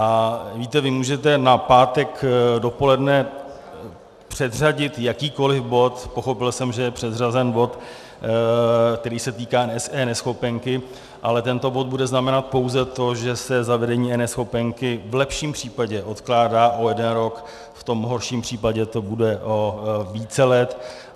A víte, vy můžete na pátek dopoledne předřadit jakýkoli bod, pochopil jsem, že je předřazen bod, který se týká eNeschopenky, ale tento bod bude znamenat pouze to, že se zavedení eNeschopenky v lepším případě odkládá o jeden rok, v tom horším případě to bude o více let.